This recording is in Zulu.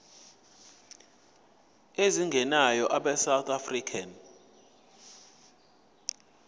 ezingenayo abesouth african